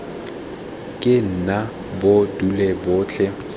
ke nna bo dule botlhe